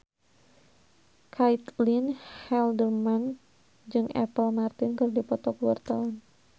Caitlin Halderman jeung Apple Martin keur dipoto ku wartawan